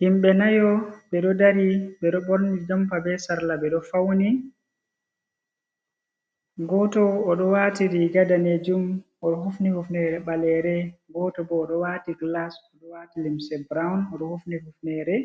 Himɓe nayo ɓe ɗo dari, ɓe ɗo ɓorni jampa, be sarla, ɓe ɗo fawni, gooto o ɗo waati riiga daneejum, o ɗo hufini ufineere ɓaleere, gooto bo ɗo waati gilas, o ɗo waati limse buraawun, o ɗo hufni hufneere,